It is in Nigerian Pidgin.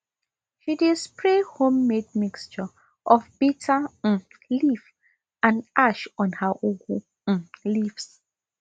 she dey spray homemade mixture of bitter um leaf and ash on her ugu um leaves